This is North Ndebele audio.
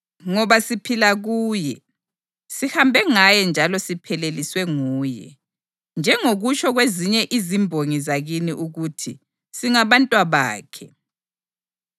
‘Ngoba siphila kuye, sihambe ngaye njalo sipheleliswe nguye.’ Njengokutsho kwezinye izimbongi zakini ukuthi, ‘Singabantwabakhe.’